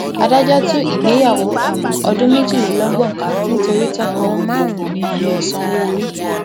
adájọ tú ìgbéyàwó um ọdún méjìlélọgbọn ká nítorí tọkọ kò um sanwó orí